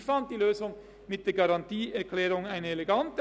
Ich fand die Lösung mit der Garantieerklärung elegant.